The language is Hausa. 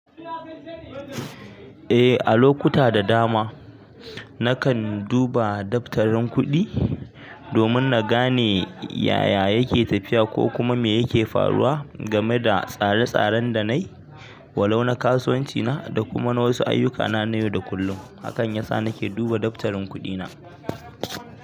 Eh a lokuta da dama nakan duba daftarin kuɗi domin nagane yaya yake tafiya ko kuma me yake faruwa game da tsare-tsaren da nai walau na kasuwanci na da kuma wasu na ayyuka na yau da kullum. Hakan yasa nake duba daftarin kuɗi na.